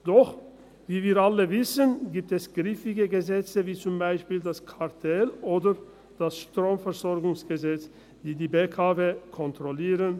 Doch, wie wir alle wissen, gibt es griffige Gesetze wie zum Beispiel das Kartellgesetz oder das Bundesgesetz über die Stromversorgung (Stromversorgungsgesetz, StromVG), die die BKW kontrollieren.